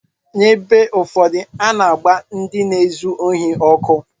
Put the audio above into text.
N’ebe ụfọdụ, a na-agba ndị na-ezu ohi ọkụ.